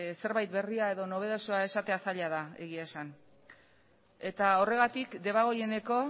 zerbait berria edo nobedosoa esatea zaila da egia esan eta horregatik debagoieneko